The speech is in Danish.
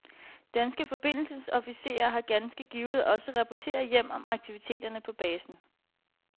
Danske forbindelsesofficerer har ganske givet også rapporteret hjem om aktiviteterne på basen.